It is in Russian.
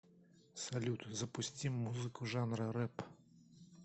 салют запусти музыку жанра рэп